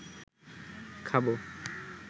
খাবো